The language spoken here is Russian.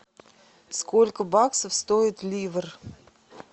сколько баксов стоит ливр